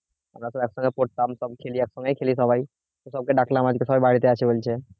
আমরা তো একসঙ্গে পড়তাম সব খেলি একসাথে খেলি সবাই তো সবাইকে ডাকলাম আজকে সবার বাড়িতে আসবে বলছে